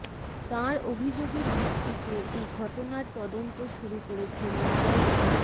তাঁর অভিযোগের ভিত্তিতে এই ঘটনার তদন্ত শুরু করেছে মুম্বই